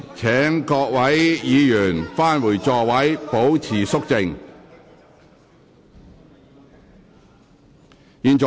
請各位議員返回座位，保持肅靜。